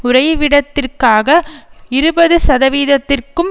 உறைவிடத்திற்காக இருபது சதவிகிதத்திற்கும்